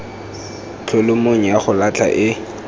kholomong ya go latlha e